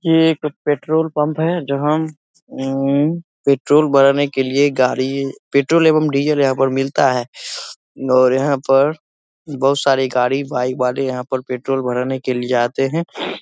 ये एक पे पेट्रोल पंप है जहाँ उम पेट्रोल भराने के लिए गाड़ी पेट्रोल एवं डीजल यहाँ पर मिलता है और यहाँ पर बहुत सारी गाड़ी बाइक वाले यहाँ पर पेट्रोल भराने के लिए आते हैं।